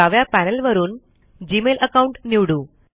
डाव्या पॅनल वरून Gmail account निवडू